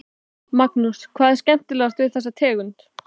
Magnús: Hvað er skemmtilegast við þessa tegund?